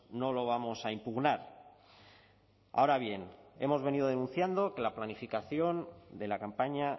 no lo vamos a impugnar ahora bien hemos venido denunciando que la planificación de la campaña